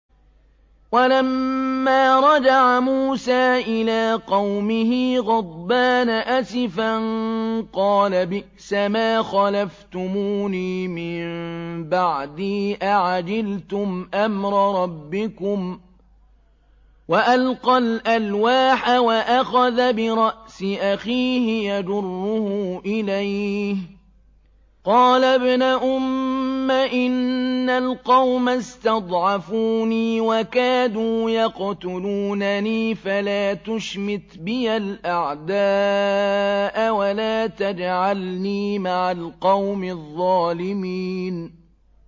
وَلَمَّا رَجَعَ مُوسَىٰ إِلَىٰ قَوْمِهِ غَضْبَانَ أَسِفًا قَالَ بِئْسَمَا خَلَفْتُمُونِي مِن بَعْدِي ۖ أَعَجِلْتُمْ أَمْرَ رَبِّكُمْ ۖ وَأَلْقَى الْأَلْوَاحَ وَأَخَذَ بِرَأْسِ أَخِيهِ يَجُرُّهُ إِلَيْهِ ۚ قَالَ ابْنَ أُمَّ إِنَّ الْقَوْمَ اسْتَضْعَفُونِي وَكَادُوا يَقْتُلُونَنِي فَلَا تُشْمِتْ بِيَ الْأَعْدَاءَ وَلَا تَجْعَلْنِي مَعَ الْقَوْمِ الظَّالِمِينَ